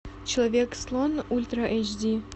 человек слон ультра эйч ди